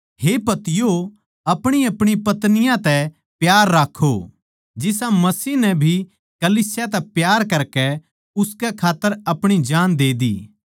हे पतियों अपणीअपणी पत्नियाँ तै प्यार राक्खो जिसा मसीह नै भी कलीसिया तै प्यार करकै उसकै खात्तर अपणी जान दे दी